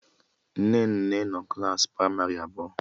Nnenne nọ klaasị pramarị abụọ